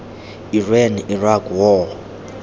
iran iraq war